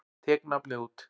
Tek nafnið út.